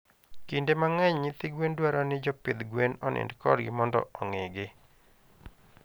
Kinde mangeny nyithi gwen dwaro ni jopidh gwen onind kodgi mondo ongii gi